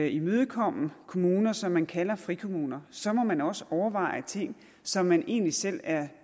imødekomme kommuner som man kalder frikommuner så må man også overveje ting som man egentlig selv er